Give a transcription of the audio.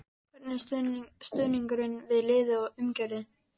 Hvernig er stuðningurinn við liðið og umgjörðin?